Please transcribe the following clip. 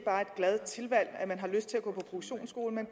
glad tilvalg og at man har lyst til at gå på produktionsskole men